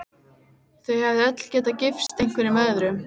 Þau hefðu öll getað gifst einhverjum öðrum.